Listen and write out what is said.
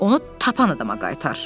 Onu tapan adama qaytar.